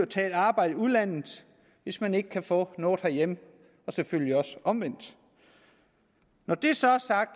tage et arbejde i udlandet hvis man ikke kan få noget herhjemme og selvfølgelig også omvendt når det så er sagt